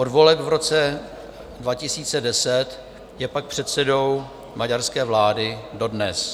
Od voleb v roce 2010 je pak předsedou maďarské vlády dodnes.